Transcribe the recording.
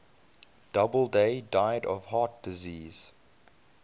doubleday died of heart disease